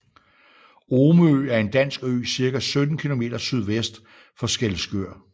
Omø er en dansk ø cirka 17 kilometer sydvest for Skælskør